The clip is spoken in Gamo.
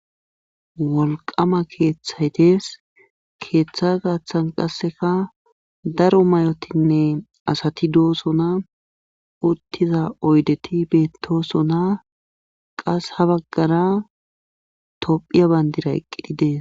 Wolqama keethay dees keetha garssan qasseka daro mayotinne asati doosona utttida oydeti beettooosona qas ha baggara tophiya benddiray eqqidi dees.